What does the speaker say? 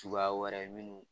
Suguya wɛrɛ ye minnu